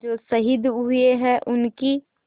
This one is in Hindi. जो शहीद हुए हैं उनकी